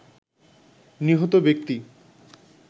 নিহত ব্যক্তি